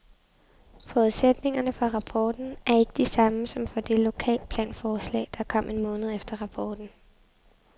Forudsætningerne for rapporten er ikke de samme som for det lokalplanforslag, der kom en måned efter rapporten.